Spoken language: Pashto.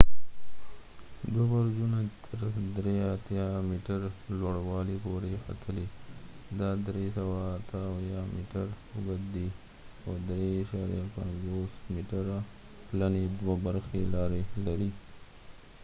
دوه برجونه تر 83 میټر لوړوالي پورې ختلي دا 378 میټر اوږد دی او 3.50 میټره پلنې دوه برخې لارې لري